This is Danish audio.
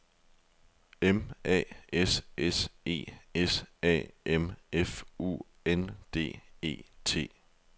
M A S S E S A M F U N D E T